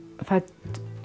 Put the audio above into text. fædd